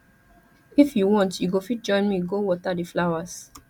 if you want you go fit join me go water the flowers